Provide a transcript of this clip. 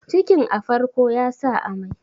cikin a farko ya sa amai